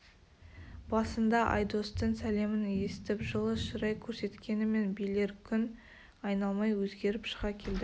басында айдостың сәлемін есітіп жылы шырай көрсеткенімен билер күн айналмай өзгеріп шыға келді